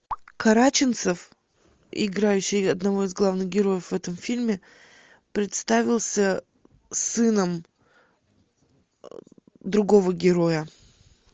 караченцов играющий одного из главных героев в этом фильме представился сыном другого героя